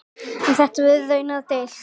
Um þetta var raunar deilt.